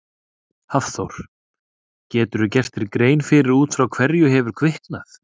Hafþór: Geturðu gert þér grein fyrir út frá hverju hefur kviknað?